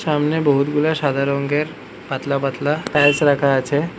সামনে বহুতগুলা সাদা রঙ্গের পাতলা পাতলা টাইলস রাখা আছে।